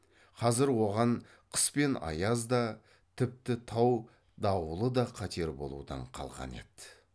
қазір оған қыс пен аяз да тіпті тау дауылы да қатер болудан қалған еді